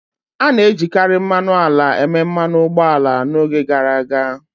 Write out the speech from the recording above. A na-ejikarị mmanụ ala eme mmanụ ụgbọ ala n'oge gara aga.